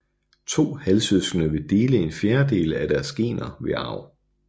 To halvsøskende vil dele en fjerdedel af deres gener ved arv